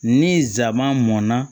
Ni nsaman mɔnna